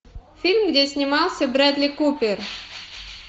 фильм где снимался бредли купер